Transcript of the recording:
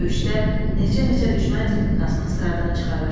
Döyüşdə neçə-neçə düşmən texnikasını sıradan çıxarır.